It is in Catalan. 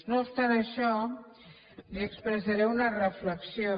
no obstant això li expressaré una reflexió